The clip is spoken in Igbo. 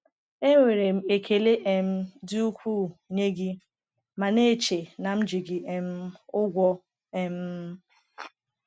Enwere m ekele um dị ukwuu nye gị ma na-eche na m ji gị um ụgwọ. um